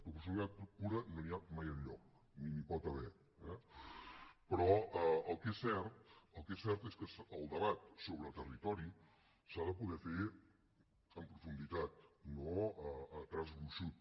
proporcionalitat pura no n’hi ha mai enlloc ni n’hi pot haver però el que és cert el que és cert és que el debat sobre territori s’ha de poder fer en profunditat no a traç gruixut